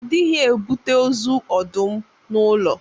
A dịghị ebute ozu ọdụm n'ụlọ.